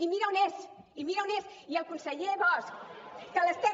i mira on és i mira on és i el conseller bosch que l’estem